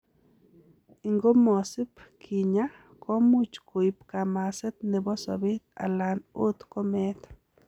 Ingomasib kinya, komuch koib kamaset nebo sobet alan ot komeet.